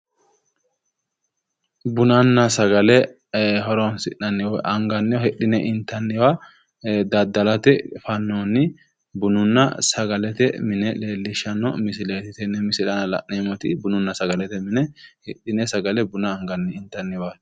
Bunanna sagale horonsi'nanniwa woy anagnniwa hidhine inatnniwa daddalate fannoonni bununna sagalete mine leellishshanno misileeti tenne misilete la'neemmoti bununna saglete minino hidhine sgale inatnniwa buna anagnniwaati